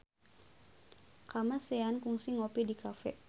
Kamasean kungsi ngopi di cafe